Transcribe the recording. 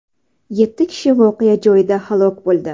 Yetti kishi voqea joyida halok bo‘ldi.